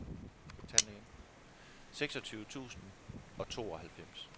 seksogtyve tusind og tooghalvfems